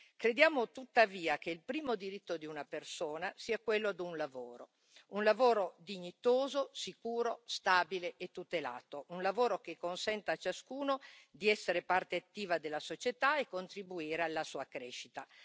Crediamo, tuttavia, che il primo diritto di una persona sia quello di un lavoro, un lavoro dignitoso, sicuro, stabile e tutelato, un lavoro che consenta a ciascuno di essere parte attiva della società e contribuire alla sua crescita.